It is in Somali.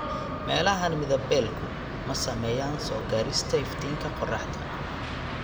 Meelahan midab-beelku ma saameeyaan soo-gaadhista iftiinka qorraxda.